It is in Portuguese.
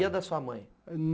E a da sua mãe?